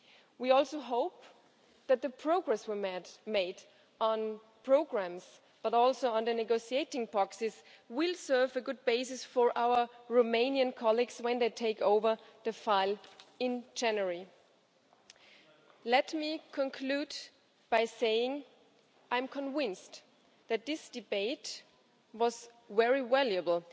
We also hope that the progress we made on programmes, but also on the negotiating boxes will serve as a good basis for our Romanian colleagues when they take over the file in January. Let me conclude by saying that I am convinced that this debate was very valuable.